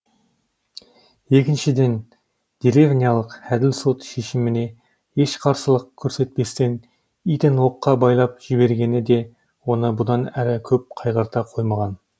екіншіден деревнялық әділ сот шешіміне еш қарсылық көрсетпестен итін оққа байлап жібергені де оны бұдан әрі көп қайғырта қоймаған